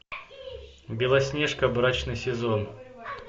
белоснежка брачный сезон